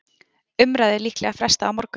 Umræðu líklega frestað á morgun